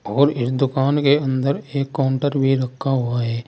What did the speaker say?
और इस दुकान के अंदर एक काउंटर भी रखा हुआ है।